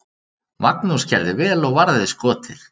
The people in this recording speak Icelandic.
Magnús gerði vel og varði skotið.